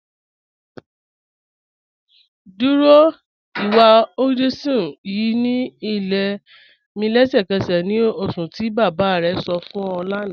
Dúró ìwà Hinduism ýìí ni ilẹ̀ mi lẹ̀ṣẹkẹ̀sẹ̀ ni oṣùn ti baba rẹ sọ̀ fún ọ̀ lána